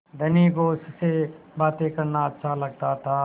धनी को उससे बातें करना अच्छा लगता था